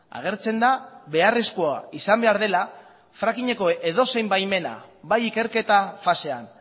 agertzen da beharrezkoa izan behar dela frackingeko edozein baimena bai ikerketa fasean